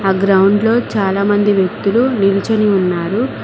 ఆ గ్రౌండ్లో చాలా మంది వ్యక్తులు నిలుచుని వున్నారు.